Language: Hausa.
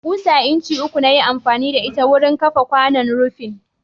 Ƙusa incin uku na yi amfani da ita wurin kafa kwanon rufin.